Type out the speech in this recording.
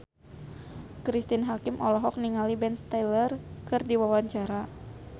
Cristine Hakim olohok ningali Ben Stiller keur diwawancara